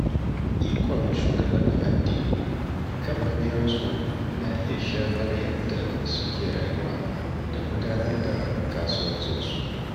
Ikon shugabannin addini kan mabiyansu na iya shafar yadda suke rayuwa da gudanar da kasuwanci.